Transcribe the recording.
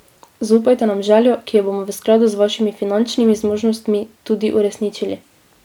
Zaupajte nam željo, ki jo bomo v skladu z vašimi finančnimi zmožnostmi tudi uresničili.